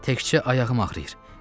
Təkcə ayağım ağrıyır.